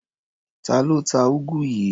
Ta ló ta úgú yìí?